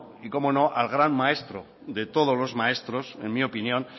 y cómo no al gran maestro de todos los maestros en mi opinión